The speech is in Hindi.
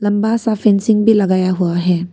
बड़ा सा फेंसिंग भी लगाया हुआ है।